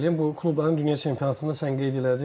Bu klubların dünya çempionatında sən qeyd elədin.